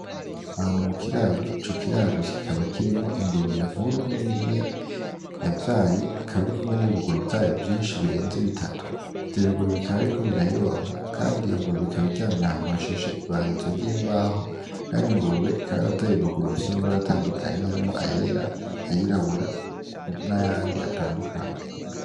Ahantu mukiraro, Ico kiraro kikaba kirimwo Ingurube nkuru niniya yavyaye ikaba irikumwe nibibuguru vyavyo vyinshi birenze bitatu, ivyo bibuguru bikaba biriko birayonka Kandi iyo ngurube ikaba iryamye ahantu hashashe ibarizo ry'imbaho, Kandi iyo ngurube ikaba yaravyaye ibibuguru bifise amabara atandukanye arimwo ayera, ayirabura nayandi atandukanye.